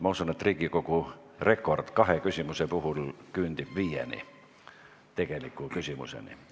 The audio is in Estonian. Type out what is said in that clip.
Ma usun, et Riigikogu rekord küündib viie tegeliku küsimuseni.